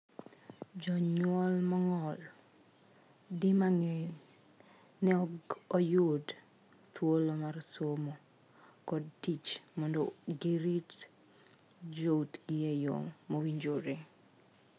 Jonyuol mong'ol, di mang'eny, ne ok oyudo thuolo mar somo kod tich mondo girit joutgi e yoo mowinjore.